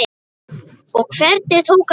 Og hvernig tók hann því?